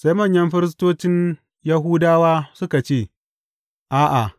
Sai manyan firistocin Yahudawa suka ce, A’a!